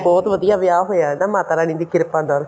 ਬਹੁਤ ਵਧੀਆ ਵਿਆਹ ਹੋਇਆ ਮਾਤਾ ਰਾਣੀ ਦੀ ਕਿਰਪਾ ਨਾਲ